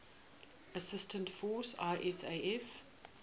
assistance force isaf